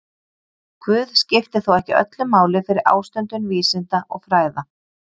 Guð skipti þó ekki öllu máli fyrir ástundun vísinda og fræða.